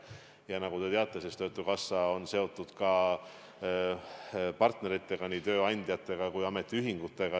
Ja nagu te teate, töötukassa on seotud partneritega, nii tööandjatega kui ka ametiühingutega.